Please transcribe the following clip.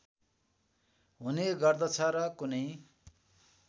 हुने गर्दछ र कुनै